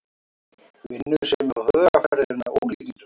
Vinnusemin og hugarfarið er með ólíkindum